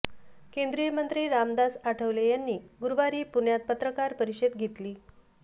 केंद्रीय मंत्री रामदास आठवले यांनी गुरुवारी पुण्यात पत्रकार परिषद घेतली